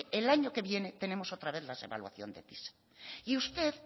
el año que viene tenemos otra vez la evaluación de pisa y usted